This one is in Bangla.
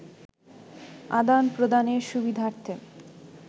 আদান-প্রদানের সুবিধার্থে